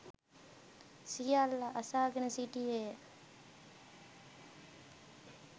සියල්ල අසාගෙන සිටියේ ය.